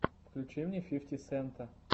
включи мне фифти сента